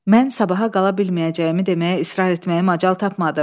Mən sabaha qala bilməyəcəyimi deməyə israr etməyə macal tapmadım.